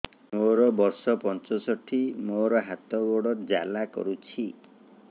ମୋର ବର୍ଷ ପଞ୍ଚଷଠି ମୋର ହାତ ଗୋଡ଼ ଜାଲା କରୁଛି